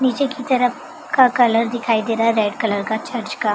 नीचे की तरफ का कलर दिखाई दे रहा है रेड कलर का चर्च का।